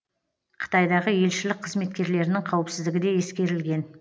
қытайдағы елшілік қызметкерлерінің қауіпсіздігі де ескерілген